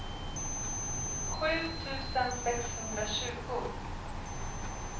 sju tusen sexhundratjugo